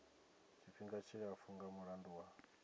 tshifhinga tshilapfu nga mulandu wa